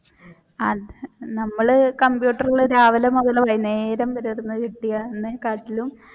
ആഹ് നമ്മൾ കമ്പ്യൂട്ടറിൽ രാവിലെ മുതൽ വൈകുന്നേരം വരെ